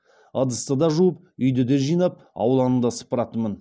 ыдысты да жуып үйді де жинап ауланы да сыпыратынмын